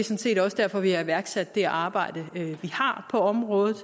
set også derfor vi har iværksat det arbejde på området